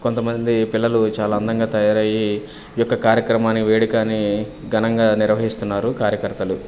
కొంతమంది పిల్లలు చాలా అందంగా తయారయ్యి ఈ యొక్క కార్యక్రమాన్ని వేడుకని ఘనంగా నిర్వహిస్తున్నారు కార్యకర్తలు.